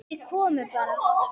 Þeir komu bara.